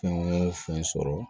Fɛn o fɛn sɔrɔ